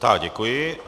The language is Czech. Tak děkuji.